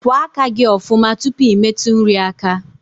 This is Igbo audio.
Kwa aka gi ofuma tupu I metu nri aka